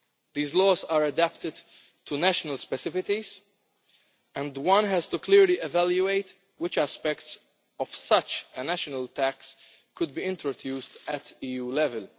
These laws are adapted to national specificities and we have to clearly evaluate which aspects of such a national tax could be introduced at EU level.